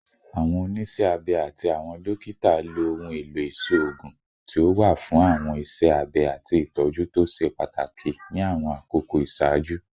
Awọn oniṣẹ abẹ ati awọn dokita lo ohun elo iṣoogun ti o wa fun awọn iṣẹ abẹ ati itọju to ṣe pataki ni awọn akoko iṣaaju